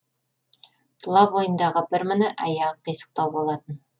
тұла бойындағы бір міні аяғы қисықтау болатын